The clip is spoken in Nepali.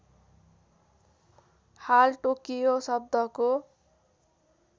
हाल टोकियो शब्दको